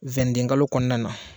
Wendekalo kɔnɔna na